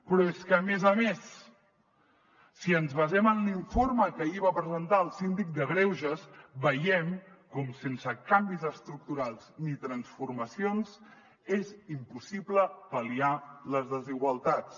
però és que a més a més si ens basem en l’informe que ahir va presentar el síndic de greuges veiem com sense canvis estructurals ni transformacions és impossible pal·liar les desigualtats